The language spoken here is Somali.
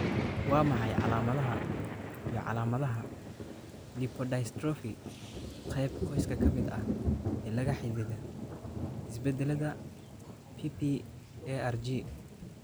Waa maxay calaamadaha iyo calaamadaha lipodystrophy qayb qoyska ka mid ah ee la xidhiidha isbeddellada PPARG?